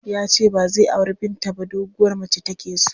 Ya ce ba zai auri Binta ba doguwar mace take so.